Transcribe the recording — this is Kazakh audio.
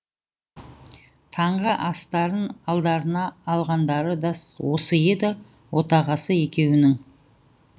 таңғы астарын алдарына алғандары да осы еді отағасы екеуінің